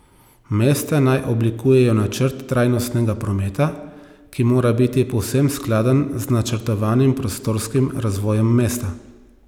Mesta naj oblikujejo načrt trajnostnega prometa, ki mora biti povsem skladen z načrtovanim prostorskim razvojem mesta.